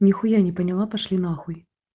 нехуя не поняла пошли нахуй